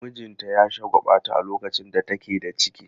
Mijinta ya shagwaɓata a lokacin da take da ciki.